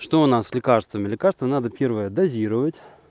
что у нас с лекарствами лекарство надо первое дозировать